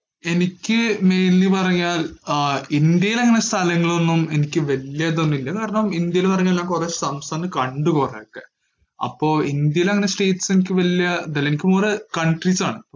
എനിക്ക് mainly പറഞ്ഞാൽ ആഹ് ഇന്ത്യയിലങ്ങനെ സ്ഥലങ്ങളൊന്നും എനിക്ക് വല്യതൊന്നുമില്ല കാരണം ഇന്ത്യയിലെന്നുപറഞ്ഞാൽ ഞാൻ കൊറേ സംസ്ഥാനം കണ്ടു കൊറേയൊക്കെ അപ്പൊ ഇന്ത്യയിലങ്ങനെ states എനിക്ക് വല്യ ഇതില്ല, എനിക്ക് കൊറേ countries ആണ്.